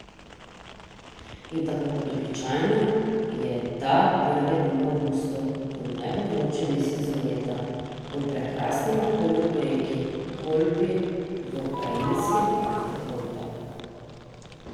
In tako kot običajno, je ta prve dni avgusta, v najbolj vročem mesecu leta, v prekrasnem okolju ob reki Kolpi, v Krajinskem parku Kolpa.